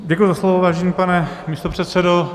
Děkuji za slovo, vážený pane místopředsedo.